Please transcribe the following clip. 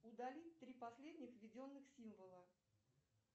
удали три последних введенных символа